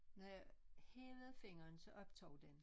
Når jeg hævede fingeren så optog det